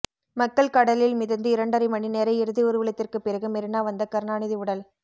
மக்கள் கடலில் மிதந்து இரண்டரை மணி நேர இறுதி ஊர்வலத்திற்கு பிறகு மெரினா வந்த கருணாநிதி உடல்